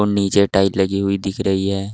नीचे टाइल लगी हुई दिख रही है।